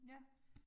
Ja